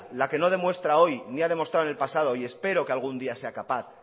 la que no demuestra hoy ni ha demostrado en el pasado y espero que algún día sea capaz